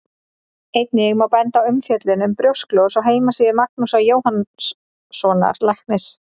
Einnig má benda á umfjöllun um brjósklos á heimasíðu Magnúsar Jóhannssonar læknis.